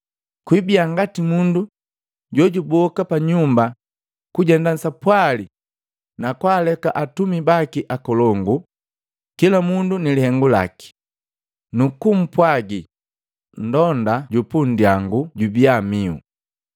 Kwibia ngati mundu jojuboka panyumba kujenda sapwali nakwaleke atumi baki ukolongu, kila mundu ni lihengu laki, nukumpwagi mlonda ju pundyangu jubia mihu.